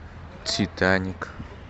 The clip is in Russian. титаник